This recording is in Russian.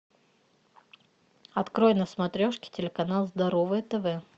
открой на смотрешке телеканал здоровое тв